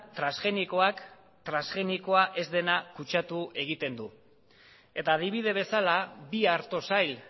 transgenikoak transgenikoa ez dena kutsatu egiten du eta adibide bezala bi arto sail